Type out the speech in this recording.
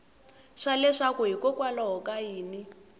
swa leswaku hikokwalaho ka yini